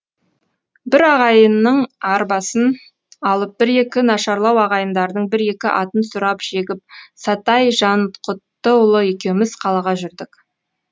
бір ағайынның арбасын алып бір екі нашарлау ағайындардың бір екі атын сұрап жегіп сатай жанқұттыұлы екеуміз қалаға жүрдік